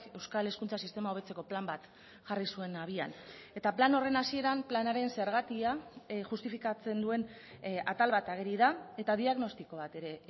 euskal hezkuntza sistema hobetzeko plan bat jarri zuen abian eta plan horren hasieran planaren zergatia justifikatzen duen atal bat ageri da eta diagnostiko bat ere